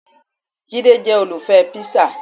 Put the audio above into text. Jide jẹ́ olùfẹ́ píṣà